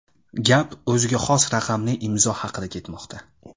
Gap o‘ziga xos raqamli imzo haqida ketmoqda.